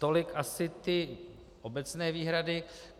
Tolik asi ty obecné výhrady.